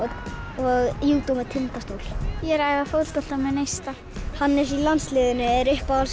og júdó með Tindastól ég er að æfa fótbolta með neista Hannes í landsliðinu er uppáhalds